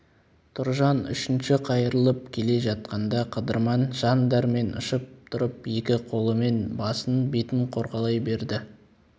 тұржан үшінші қайырылып келе жатқанда қыдырман жан дәрмен ұшып тұрып екі қолымен басын бетін қорғалай берді